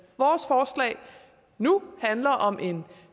vores forslag nu handler om en